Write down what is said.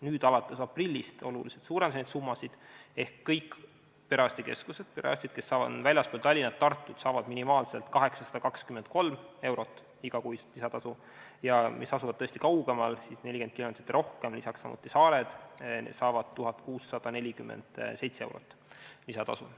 Nüüd, alates aprillist suurendati neid summasid oluliselt ehk kõikides perearstikeskustes, mis asuvad väljaspool Tallinna ja Tartut, saavad perearstid minimaalselt 823 eurot igakuist lisatasu, ja kõigis neis, mis asuvad tõesti kaugemal, st 40 kilomeetrit ja rohkem, lisaks samuti saared, saadakse 1647 eurot lisatasu.